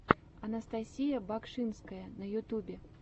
анастасия багшинская на ютюбе